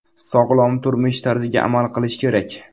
Sog‘lom turmush tarziga amal qilish kerak.